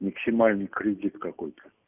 максимальный кредит какой-то